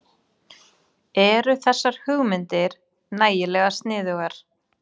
Eru þessar hugmyndir nægilega sniðugar?